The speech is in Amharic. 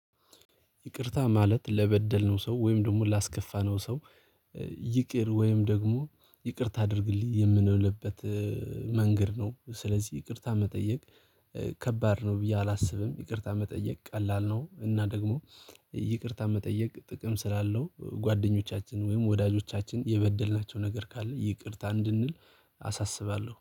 ይቅርታ ማለት ለበደልነው ሰው ወይም ደግሞ ላስከፋነው ሰው ይቅር ወይም ደግሞ ይቅርታ አድርግልኝ የምንልበት መንገድ ነው። ስለዚህ ይቅርታ መጠየቅ ከባድ ነው ብዬ አላስብም። ይቅርታ መጠየቅ ቀላል ነው እና ደግሞ ይቅርታ መጠየቅ ጥቅም ስላለው ጓደኞቻችን ወይም ወዳጆቻችን የበደልናቸው ነገር ካለ ይቅርታ እንድንል አሳስባለሁ